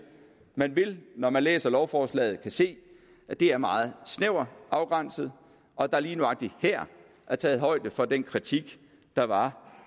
man vil når man læser lovforslaget kunne se at det er meget snævert afgrænset og at der lige nøjagtig her er taget højde for den kritik der var